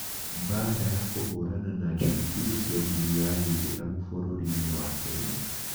Mbaara ya kũhũrana na njangiri cia ndini ya gĩithĩramu bũrũri-inĩ wa Kenya